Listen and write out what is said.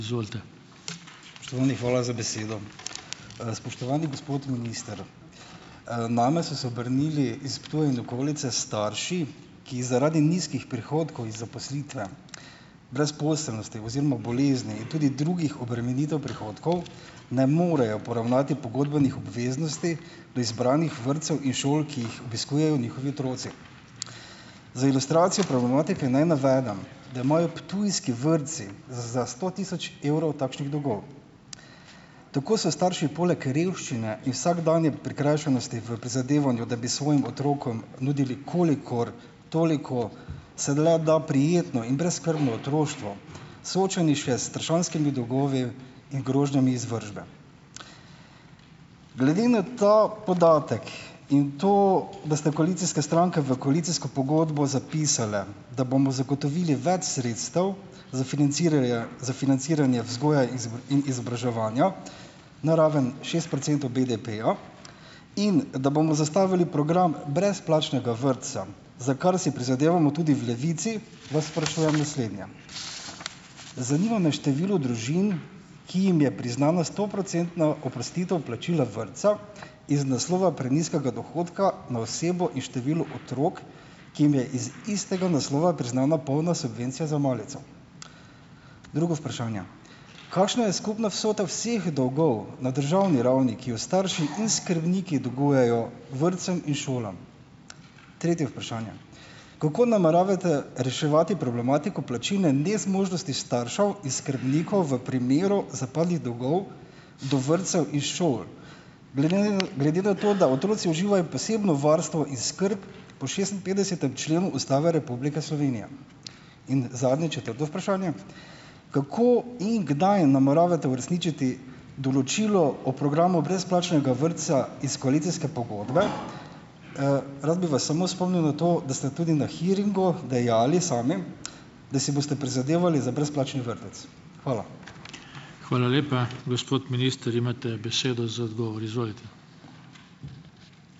Spoštovani, hvala za besedo. Spoštovani gospod minister, name so se obrnili iz Ptuja in okolice starši, ki zaradi nizkih prihodkov iz zaposlitve, brezposelnosti oziroma bolezni in tudi drugih obremenitev prihodkov ne morejo poravnati pogodbenih obveznosti do izbranih vrtcev in šol, ki jih obiskujejo njihovi otroci. Za ilustracijo problematike naj navedem , da imajo ptujski vrtci za za sto tisoč evrov takšnih dolgov. Tako so starši poleg revščine in vsakdanje prikrajšanosti v prizadevanju, da bi svojim otrokom nudili, kolikor toliko se le da, prijetno in brezskrbno otroštvo, soočeni še s strašanskimi dolgovi in grožnjami izvršbe. Glede na ta podatek in to, da ste koalicijske stranke v koalicijsko pogodbo zapisale, da bomo zagotovili več sredstev za financirarja za financiranje vzgoje in izobraževanja na raven šest procentov BDP-ja in da bomo zastavili program brezplačnega vrtca, za kar si prizadevamo tudi v Levici, vas sprašujem naslednje: zanima me število družin, ki jim je priznana stoprocentna oprostitev plačila vrtca iz naslova prenizkega dohodka na osebo in število otrok, ki jim je iz istega naslova priznana polna subvencija za malico? Drugo vprašanje: kakšna je skupna vsota vseh dolgov na državni ravni, ki jo starši in skrbniki dolgujejo vrtcem in šolam? Tretje vprašanje: kako nameravate reševati problematiko plačilne nezmožnosti staršev in skrbnikov v primeru zapadlih dolgov do vrtcev in šol, glede na to, da otroci uživajo posebno varstvo in skrb po šestinpetdesetem členu Ustave Republike Slovenije? In zadnje, četrto vprašanje: kako in kdaj nameravate uresničiti določilo o programu brezplačnega vrtca iz koalicijske pogodbe? Rad bi vas samo spomnil na to, da ste tudi na hearingu dejali sami, da si boste prizadevali za brezplačni vrtec. Hvala.